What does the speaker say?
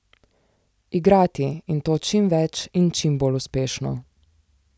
Igrati, in to čim več in čim bolj uspešno.